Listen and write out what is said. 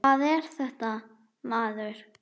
Hvað er þetta, maður?